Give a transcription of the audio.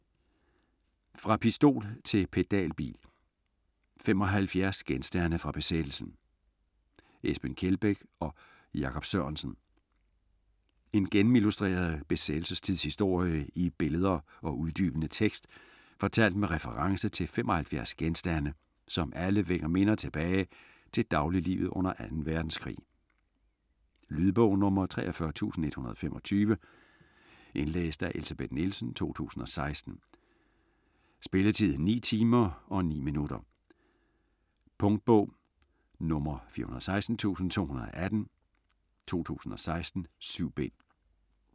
Fra pistol til pedalbil: 75 genstande fra besættelsen Esben Kjeldbæk og Jakob Sørensen En gennemillustreret besættelsestidshistorie i billeder og uddybende tekst fortalt med reference til 75 genstande, som alle vækker minder tilbage til dagliglivet under 2. verdenskrig. Lydbog 43125 Indlæst af Elsebeth Nielsen, 2016. Spilletid: 9 timer, 9 minutter. Punktbog 416218 2016. 7 bind.